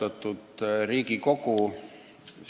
Austatud Riigikogu!